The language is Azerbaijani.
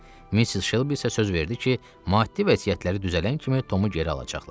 Mister Şelbi isə söz verdi ki, maddi vəziyyətləri düzələn kimi Tomu geri alacaqlar.